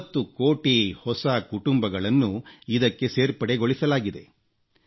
30 ಕೋಟಿ ಹೊಸ ಕುಟುಂಬಗಳನ್ನು ಇದಕ್ಕೆ ಸೇರ್ಪಡೆಗೊಳಿಸಲಾಗಿದೆ